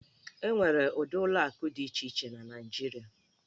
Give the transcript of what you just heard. E nwere ụdị ụlọ akụ dị iche iche na Naịjirịa.